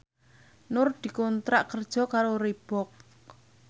Nur dikontrak kerja karo Reebook